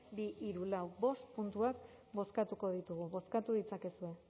bi hiru lau bost puntuak bozkatuko ditugu bozkatu ditzakezue